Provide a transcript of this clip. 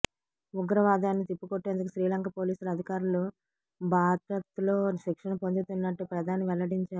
ఉగ్రవాదాన్ని తిప్పికొట్టేందుకు శ్రీలంక పోలీసు అధికారులు భారత్లో శిక్షణ పొందుతున్నట్టు ప్రధాని వెల్లడించారు